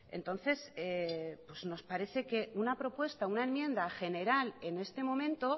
entonces pues nos parece que una propuesta una enmienda general en este momento